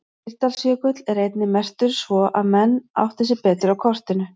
Mýrdalsjökull er einnig merktur svo að menn átti sig betur á kortinu.